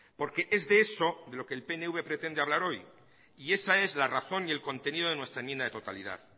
porque es de eso de lo que el pnv pretende hablar hoy y esa es la razón y el contenido de nuestra enmienda de totalidad